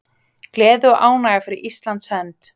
Gleði og ánægja fyrir Íslands hönd